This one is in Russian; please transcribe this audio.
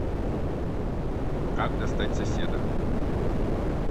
как достать соседа